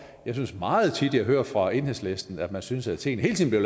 jeg synes meget tit jeg hører fra enhedslisten at man synes at tingene hele tiden